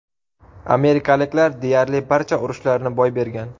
Amerikaliklar deyarli barcha urushlarni boy bergan.